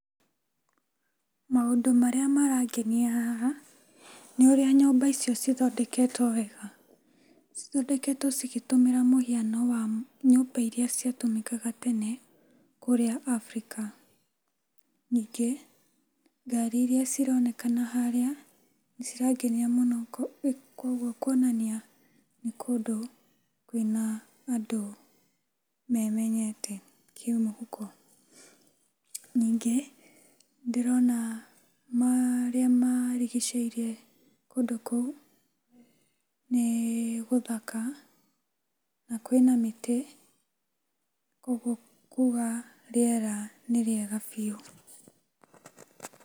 Maũndũ marĩa marangenia haha, nĩũrĩa nyũmba icio cithondeketwo wega. Cithondeketwo cigĩtũmĩra mũhaino wa nyũmba iria ciatũmĩkaga tene Afrika. Nyingĩ, ngari iria cironekana harĩa, nĩcirangenia mũno kwogwo kwonania nĩkũndũ kwĩna andũ memenyete kĩmũhuko. Nyingĩ, ndĩrona marĩa marigicĩirie kũndũ kũu nĩgũthaka na kwĩna mĩtĩ, kuogwo kuga rĩera nĩ rĩega biũ.